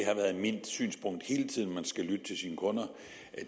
har været mit synspunkt hele tiden at man skal lytte til sine kunder